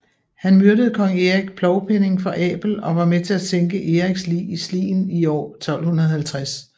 Han myrdede kong Erik Plovpenning for Abel og var med til at sænke Eriks lig i Slien i år 1250